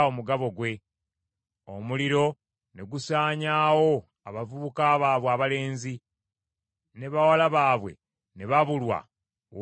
Omuliro ne gusaanyaawo abavubuka baabwe abalenzi, ne bawala baabwe ne babulwa ow’okubawasa.